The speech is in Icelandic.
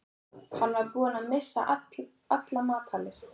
Hann var búinn að missa alla matar lyst.